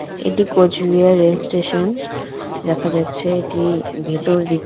এটি কোচবিহার রেলস্টেশন দেখা যাচ্ছে এটি ভেতরদিক।